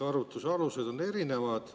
Arvutuse alused on erinevad.